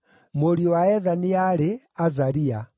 Mũriũ wa Ethani aarĩ: Azaria.